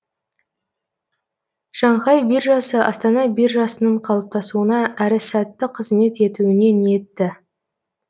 шанхай биржасы астана биржасының қалыптасуына әрі сәтті қызмет етуіне ниетті